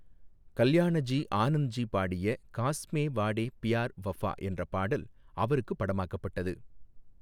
கல்யாணஜி ஆனந்த்ஜி பாடிய 'காஸ்மே வாடே பியார் வஃபா' என்ற பாடல் அவருக்கு படமாக்கப்பட்டது.